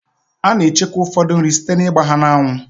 A na-echekwa ụfọdụ nri site na-ịgba ha n'anwụ.